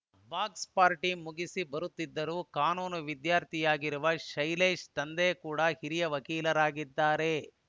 box party ಮುಗಿಸಿ ಬರುತ್ತಿದ್ದರು ಕಾನೂನು ವಿದ್ಯಾರ್ಥಿಯಾಗಿರುವ ಶೈಲೇಶ್‌ ತಂದೆ ಕೂಡ ಹಿರಿಯ ವಕೀಲರಾಗಿದ್ದಾರೆ